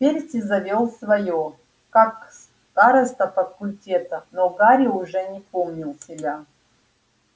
перси завёл своё как староста факультета но гарри уже не помнил себя